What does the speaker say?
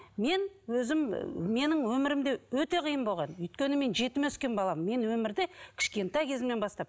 мен өзім менің өмірім де өте қиын болған өйткені мен жетім өскен баламын мен өмірді кішкентай кезімнен бастап